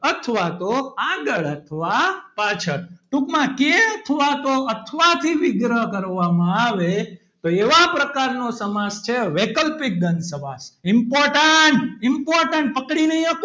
અથવા તો આગળ અથવા પાછળ ટૂંકમાં કે અથવા તો અથવા થી વિગ્રહ કરવામાં આવે તો એવા પ્રકારનો સમાસ છે વૈકલ્પિક દ્વંદ સમાસ important important પકડી નહીં,